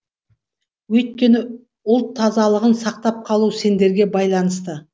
өйткені ұлт тазалығын сақтап қалу сендерге байланысты